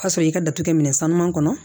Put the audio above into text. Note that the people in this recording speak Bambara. Ka sɔrɔ i ka datugu minɛn sanuman kɔnɔ